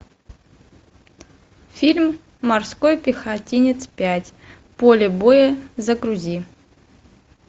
фильм морской пехотинец пять поле боя загрузи